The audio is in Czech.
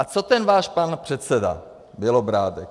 A co ten váš pan předseda Bělobrádek?